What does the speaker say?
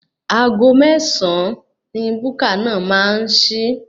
Aago mẹ́sàn-án ni búkà náà máa ṣí.